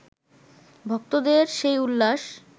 ভক্তদের সেই উল্লাস